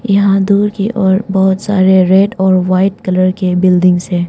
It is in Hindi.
यहां दूर की ओर बहोत सारे रेड और वाइट कलर के बिल्डिंग्स है।